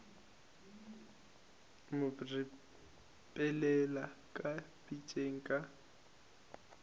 mo ripelela ka pitšeng ka